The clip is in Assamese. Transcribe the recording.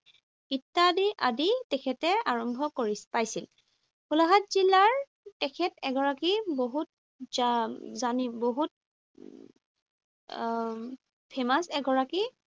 ইত্যাদি আদি তেখেতে আৰম্ভ পাইছিল। গোলাঘাট জিলাৰ তেখেত এগৰাকী বহুত বহুত উম famous এগৰাকী